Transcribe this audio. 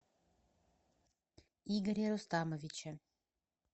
игоре рустамовиче